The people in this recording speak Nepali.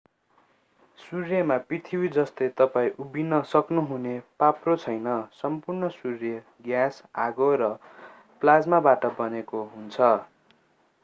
सूर्यमा पृथ्वी जस्तो तपाईं उभिन सक्नुहुने पाप्रो छैन सम्पूर्ण सूर्य ग्यास आगो र प्लाज्माबाट बनेको हुन्छ